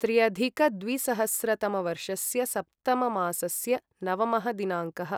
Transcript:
त्र्यधिकद्विसहस्रतमवर्षस्य सप्तममासस्य नवमः दिनाङ्कः